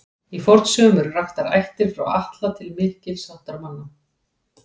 Í fornsögum eru raktar ættir frá Atla til mikils háttar manna.